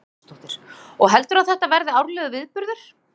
Hugrún Halldórsdóttir: Og heldurðu að þetta verði árlegur viðburður?